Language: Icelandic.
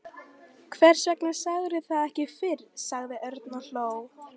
Hvers vegna sagðirðu það ekki fyrr? sagði Örn og hló.